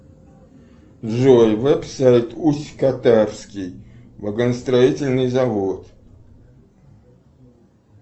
джой веб сайт усть катарский вагоностроительный завод